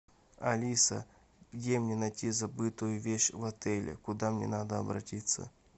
алиса где мне найти забытую вещь в отеле куда мне надо обратиться